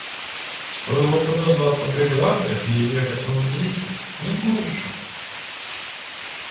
стоило бы дождаться бригады ей ехать минут десять не больше